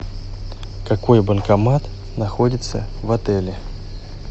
какой банкомат находится в отеле